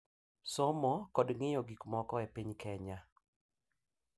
Somo kod ng’iyo gik moko e piny Kenya